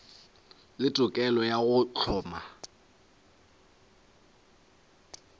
le tokelo ya go hloma